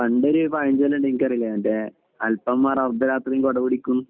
പണ്ട് ഒരു പഴഞ്ചൊല്ലുണ്ട് നിനക്കറിയില്ലേ അല്പന്മാർ അർദ്ധരാത്രിക്കും കുടപിടിക്കും എന്ന്